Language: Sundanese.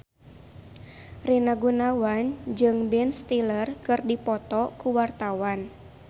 Rina Gunawan jeung Ben Stiller keur dipoto ku wartawan